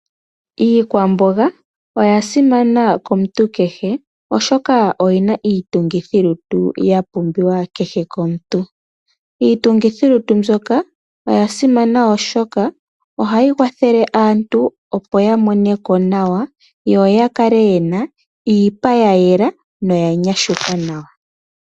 Iikwamboga oya simana komuntu kehe oshoka oyina iitungithilutu ya pumbiwa kehe komuntu, iitungithilutu mbyoka oya simana oshoka oha yikwathele aantu opo yamoneko nawa yo yakale yena iipa ya yela noya nyashuka nawa.